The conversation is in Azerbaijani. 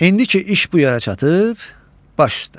İndi ki iş bu yerə çatıb, baş üstə.